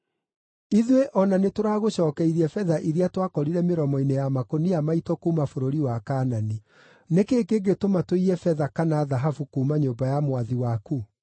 Ithuĩ o na nĩtũragũcookeirie betha iria twakorire mĩromo-inĩ ya makũnia maitũ kuuma bũrũri wa Kaanani; nĩ kĩĩ kĩngĩtũma tũiye betha kana thahabu kuuma nyũmba ya mwathi waku?